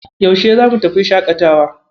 Yaushe zamu tafi shaƙatawa?